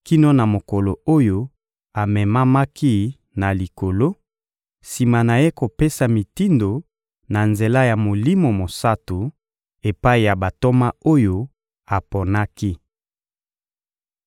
kino na mokolo oyo amemamaki na Likolo, sima na Ye kopesa mitindo, na nzela ya Molimo Mosantu, epai ya bantoma oyo aponaki.